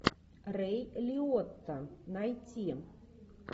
рэй лиотта найти